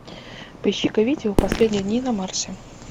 поищи ка видео последние дни на марсе